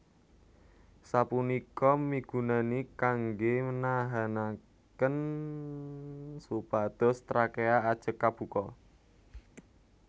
Sapunika migunani kanggè nahanakén supados trakea ajeg kabuka